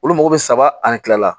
Olu mago bɛ saba ani kila la